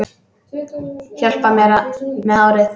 Hjálpar mér með hárið!